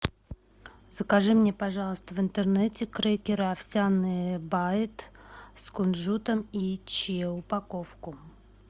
закажи мне пожалуйста в интернете крекеры овсяные байт с кунжутом и чиа упаковку